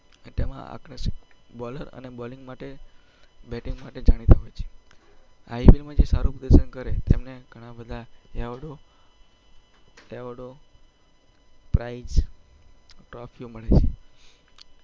તેમાં આકર્ષક બોલ~બોલિંગ માટે બેટિંગ માટે જાણીતા હોય છે. IPL માં જે સારું પ્રદર્શન કરે તેમને ઘણા બધા એવોર્ડ~એવોર્ડ્સ, પ્રાઈઝ અને ટ્રોફીઓ મળે છે.